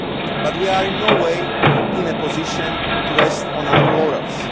But we are in no way in a position to rest on our laurels.